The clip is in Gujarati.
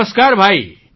નમસ્કાર ભાઈ